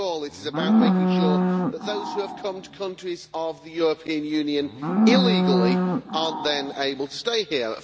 After all, it is about making sure that those who have come to countries of the European Union illegally are not then able to stay here.